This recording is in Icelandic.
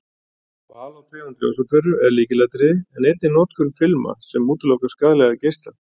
Val á tegund ljósaperu er lykilatriði en einnig notkun filma sem útiloka skaðlega geisla.